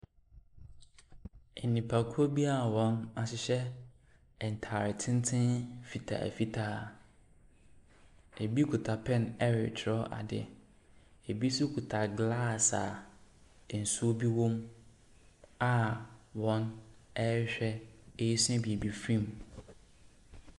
Nnipakuo bi ahyehyɛ ntaare tenten fitaa fitaa. Ɛbi kita pɛn ɛretwerɛ ade, ɛbi nso kita glass a nsuo bi wolɔ mu a wɔn ɛrehwɛ ɛresua biribi firi mu.